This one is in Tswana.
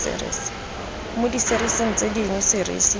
mo diserising tse dingwe serisi